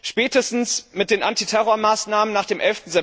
Spätestens mit den Antiterrormaßnahmen nach dem